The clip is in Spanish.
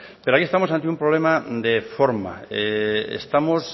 pero aquí estamos ante un problema de forma estamos